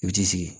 I bi t'i sigi